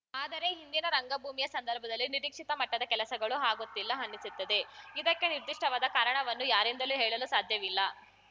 ಆದರೆ ಇಂದಿನ ರಂಗಭೂಮಿಯ ಸಂದರ್ಭದಲ್ಲಿ ನಿರೀಕ್ಷಿತ ಮಟ್ಟದ ಕೆಲಸಗಳು ಆಗುತ್ತಿಲ್ಲ ಅನ್ನಿಸುತ್ತದೆ ಇದಕ್ಕೆ ನಿರ್ಧಿಷ್ಟವಾದ ಕಾರಣವನ್ನು ಯಾರಿಂದಲೂ ಹೇಳಲು ಸಾಧ್ಯವಿಲ್ಲ